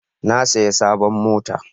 Na saya sabon mota